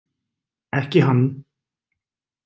Ekki hann.